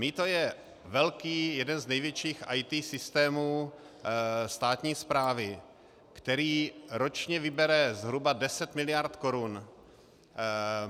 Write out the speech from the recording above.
Mýto je velký, jeden z největších IT systému státní správy, který ročně vybere zhruba 10 mld. korun.